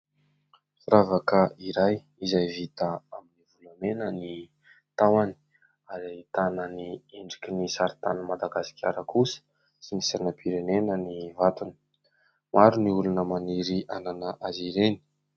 Firavaka iray izay vita amin'ny volamena ny tahony ary ahitana ny endriky ny saritanin'ny Madagasikara kosa sy ny sainam-pirenena ny vatony, maro ny olona maniry hanana azy ireny.